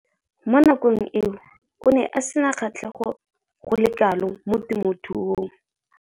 Mo nakong eo o ne a sena kgatlhego go le kalo mo temothuong.